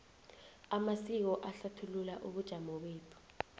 amasiko ahlathulula ubunjalo bethu